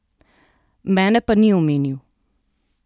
Mene pa ni omenil.